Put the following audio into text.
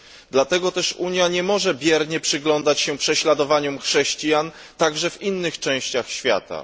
Dlatego też Unia nie może biernie przyglądać się prześladowaniom chrześcijan, także w innych częściach świata.